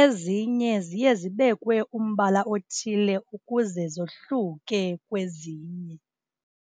Ezinye ziye zibekwe umbala othile ukuze zohluke kwezinye.